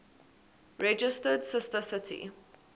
registered sister city